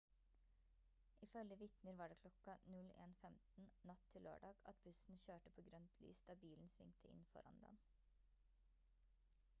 ifølge vitner var det kl. 01:15 natt til lørdag at bussen kjørte på grønt lys da bilen svingte inn foran den